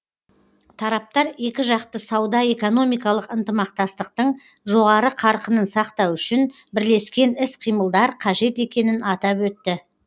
тараптар екіжақты сауда экономикалық ынтымақтастықтың жоғары қарқынын сақтау үшін бірлескен іс қимылдар қажет екенін атап өтті